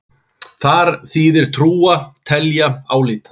Þar þýðir trúa: telja, álíta.